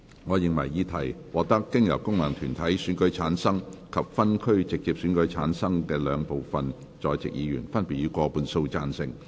我認為議題獲得經由功能團體選舉產生及分區直接選舉產生的兩部分在席議員，分別以過半數贊成。